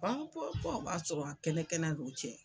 dɔw b'a sɔrɔ kɛnɛ kɛnɛ n'u cɛ.